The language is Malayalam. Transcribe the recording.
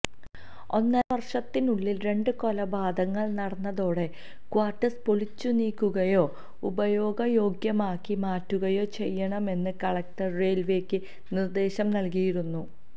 ഒന്നരവർഷത്തിനുള്ളിൽ രണ്ട് കൊലപാതകങ്ങൾ നടന്നതോടെ ക്വാർട്ടേഴ്സ് പൊളിച്ചുനീക്കുകയോ ഉപയോഗയോഗ്യമാക്കി മാറ്റുകയോ ചെയ്യണമെന്ന് കളക്ടർ റെയിൽവേക്ക് നിർദേശം നൽകിയിരുന്നു